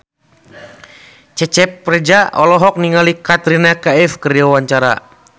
Cecep Reza olohok ningali Katrina Kaif keur diwawancara